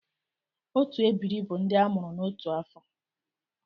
Otu ebiri bu ndị a mụrụ n’otu afọ.